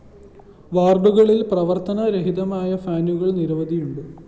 വാര്‍ഡുകളില്‍ പ്രവത്തനരഹിതമായ ഫാനുകളും നിരവധിയുണ്ട്